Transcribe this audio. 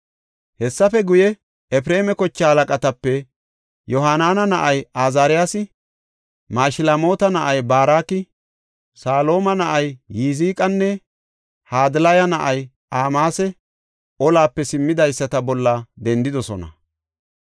Hessafe guye, Efreema kochaa halaqatape Yohaanana na7ay Azaariyasi, Mashilmoota na7ay Baraki, Salooma na7ay Yiziqanne Hadilaya na7ay Amaasi olape simmidaysata bolla dendidosona.